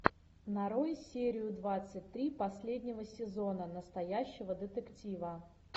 нарой серию двадцать три последнего сезона настоящего детектива